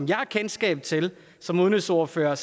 jeg har kendskab til som udenrigsordfører er